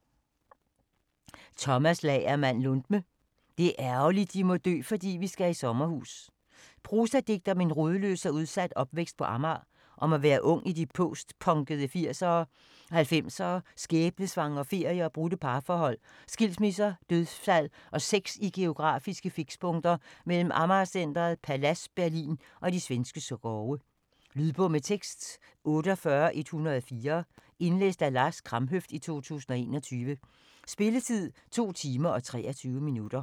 Lundme, Tomas Lagermand: Det er ærgerligt de må dø fordi vi skal i sommerhus Prosadigte om en rodløs og udsat opvækst på Amager. Om at være ung i de postpunkede 80'ere og 90'ere og om skæbnesvangre ferier og brudte parforhold, skilsmisser, dødsfald og sex i geografiske fikspunkter mellem Amager Centret, Palads, Berlin og de svenske skove. Lydbog med tekst 48104 Indlæst af Lars Kramhøft, 2021. Spilletid: 2 timer, 23 minutter.